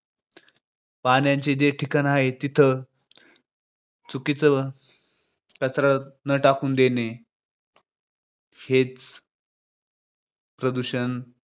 पाण्याची जी ठिकाण आहेत तिथे चुकीचं कचरा टाकून न देणे. हे प्रदूषण